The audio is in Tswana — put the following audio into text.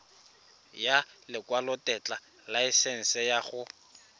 ya lekwalotetla laesense ya go